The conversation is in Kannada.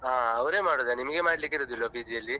ಹಾ ಅವ್ರೆ ಮಾಡುದಾ ನಿಮ್ಗೆ ಮಾಡ್ಲಿಕ್ಕಿರುದಿಲ್ವ PG ಅಲ್ಲಿ.